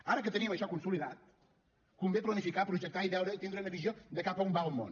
ara que tenim això consolidat convé planificar projectar i veure i tindre una visió de cap a on va el món